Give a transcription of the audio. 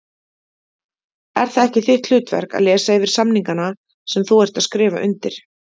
Er það ekki þitt hlutverk að lesa yfir samningana sem þú ert að skrifa undir?